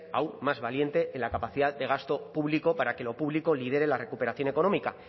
aún más valiente en la capacidad de gasto público para que lo público lidere la recuperación económica